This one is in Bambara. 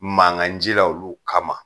Mangan cila olu kama